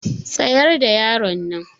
Tsayar da yaronnan.